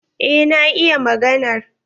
Eh na iya maganar.